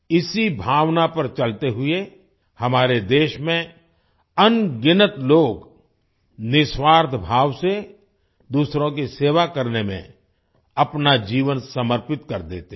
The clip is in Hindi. इसी भावना पर चलते हुए हमारे देश में अनगिनत लोग निस्वार्थ भाव से दूसरों की सेवा करने में अपना जीवन समर्पित कर देते हैं